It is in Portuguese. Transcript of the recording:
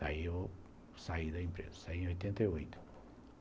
Daí eu saí da empresa, saí em oitenta e oito